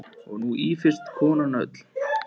Og nú ýfist konan öll.